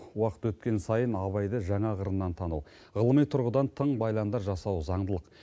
уақыт өткен сайын абайды жаңа қырынан тану ғылыми тұрғыдан тың байламдар жасау заңдылық